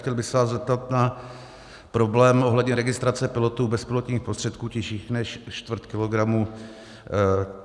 Chtěl bych se vás zeptat na problém ohledně registrace pilotů bezpilotních prostředků těžších než čtvrt kilogramu.